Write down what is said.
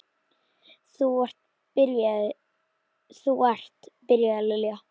Þú ert. byrjaði Lilla.